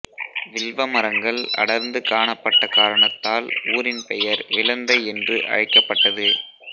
வில்வ மரங்கள் அடர்ந்து காணப்பட்ட காரணத்தால் ஊரின் பெயர் விளந்தை என்று அழைக்கப்பட்டது